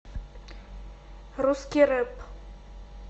русский рэп